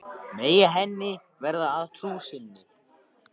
Megi henni verða að trú sinni.